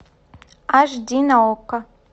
аш ди на окко